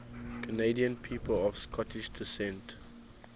canadian people of scottish descent